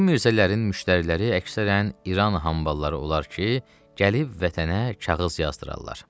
Bu mirzələrin müştəriləri əksərən İran hambalları olar ki, gəlib vətənə kağız yazdırarlar.